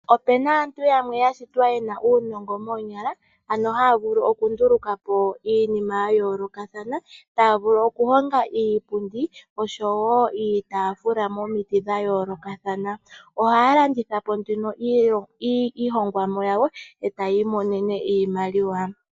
Opena aantu yamwe ya shitwa yena uunongo moonyala ano haya vulu oku nduluka po iinima ya yooloka. Taya vulu oku honga iipundi oshowo iitafula momiti dha yoolokathan. Ohaya landitha po nduno iihongomwa yawo etaya i monene iimaliwa.